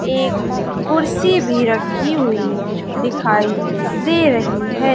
एक कुर्सी भी रखी हुई दिखाई दे रही है।